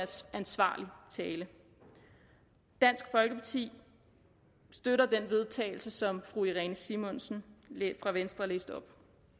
ansvarlig tale dansk folkeparti støtter det forslag vedtagelse som fru irene simonsen fra venstre læste op